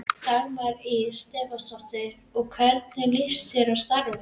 Dagmar Ýr Stefánsdóttir: Og hvernig líst þér á starfið?